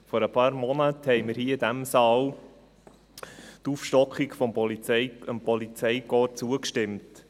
Vor ein paar Monaten stimmten wir hier in diesem Saal der Aufstockung des Polizeikorps zu.